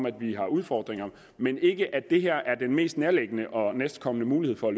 at vi har udfordringer men ikke i at det her er den mest nærliggende og næstkommende mulighed for